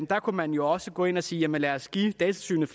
der kunne man jo også gå ind og sige jamen lad os give datatilsynet